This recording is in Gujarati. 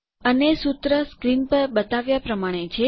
અને સુત્ર પડદાં પર બતાવ્યાં પ્રમાણે છે